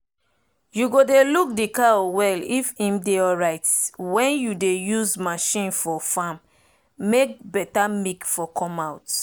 you go dey look d cow well if im dey alrite wen u dey use marchin for farm make beta milk for come out